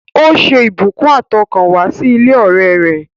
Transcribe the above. Ó ṣe ìbùkún àtọkànwá sí ilé ọ̀rẹ́ rẹ̀